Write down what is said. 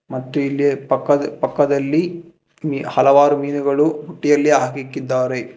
ಮತ್ತು ಇಲ್ಲಿ ಪಕ್ಕದ ಪಕ್ಕದಲ್ಲಿ ಈ ಹಲವಾರು ಮೀನುಗಳು ಬುಟ್ಟಿಯಲ್ಲಿ ಹಾಕಿಕ್ಕಿದ್ದಾರೆ.